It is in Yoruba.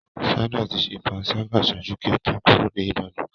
Sandra ti ṣe panṣaga ṣaaju ki o to kuro ni Ibadan.